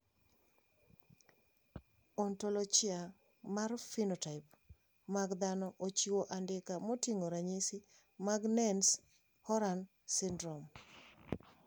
Ontologia mar phenotype mag dhano ochiwo andika moting`o ranyisi mag Nance Horan syndrome.